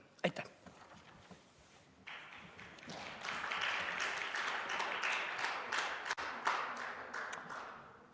Aitäh!